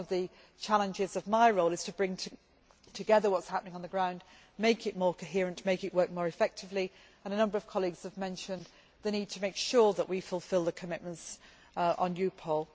One of the challenges of my role is to bring together what is happening on the ground, to make it more coherent and make it work more effectively. A number of colleagues have mentioned the need to make sure we fulfil the commitments on EUPOL.